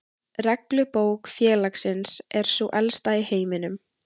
Reglubók félagsins er sú elsta í heiminum.